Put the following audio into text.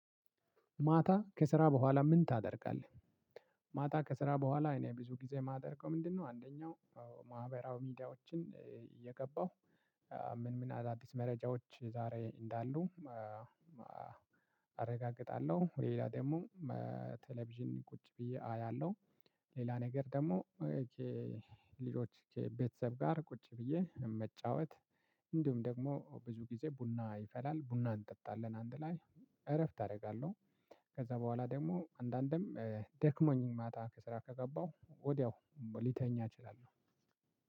ማታ ከስራ በኋላ ምን ታደርጋለህ? ማታ ከስራ በኋላ እኔ ብዙ ጊዜ የማደርገው ምንድነው። አንደኛው ማህበራዊ ሚዲያዎችን እየገባሁ ምን ምን አዳዲስ መረጃዎች ዛሬ እንዳሉ አረጋግጣለሁ። ሌላ ደግሞ ቴሌቪዥን ቁጭ ብዬ አያለሁ። ሌላ ነገር ደግሞ ልጆች ከቤተሰብ ጋር ቁጭ ብዬ መጫወት። እንዲሁም ደግሞ ብዙ ጊዜ ቡና ይፈላል ቡና እንጠጣለን አንድ ላይ እረፍት አደርጋለሁ። ከዛ በኋላ ደግሞ አንዳንድም ደክሞኝ ማታ ከስራ ከገባሁ ወዲያው ሊተኛ እችላለሁ።